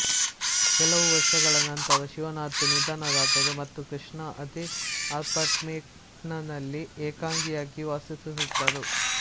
ಕೆಲವು ವರ್ಷಗಳ ನಂತರ ಶಿವನಾಥ್ ನಿಧನರಾದರು ಮತ್ತು ಕೃಷ್ಣಾ ಅದೇ ಅಪಾರ್ಟ್ಮೆಂಟ್ನಲ್ಲಿ ಏಕಾಂಗಿಯಾಗಿ ವಾಸಿಸುತ್ತಿದ್ದರು